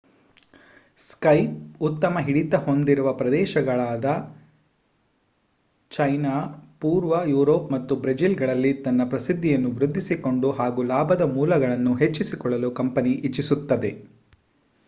Skype ಉತ್ತಮ ಹಿಡಿತ ಹೊಂದಿರುವ ಪ್ರದೇಶಗಳಾದ ಚೈನಾ ಪೂರ್ವ ಯೂರೋಪ್ ಮತ್ತು ಬ್ರೆಜಿಲ್ ಗಳಲ್ಲಿ ತನ್ನ ಪ್ರಸಿದ್ದಿಯನ್ನು ವೃದ್ದಿಸಿಕೊಂಡು ಹಾಗೂ ಲಾಭದ ಮೂಲಗಳನ್ನು ಹೆಚ್ಚಿಸಿಕೊಳ್ಳಲು ಕಂಪನಿ ಇಚ್ಚಿಸುತ್ತದೆ